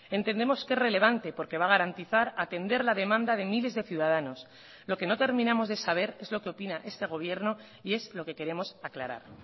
entendemos que es relevante porque va a garantizar atender la demanda de miles de ciudadanos lo que no terminamos de saber es lo que opina este gobierno y es lo que queremos aclarar